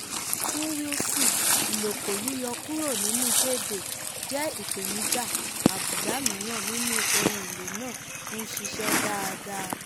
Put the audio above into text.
fún wilson uloko yíyọ kúrò nínú payday jẹ́ ìpèníjà àbùdá mìíràn nínú ohun èlò náà ń ṣiṣẹ́ dáadáa.